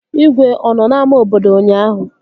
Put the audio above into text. Igwe ọ nọ n'ámá obodo ụnyaahụ?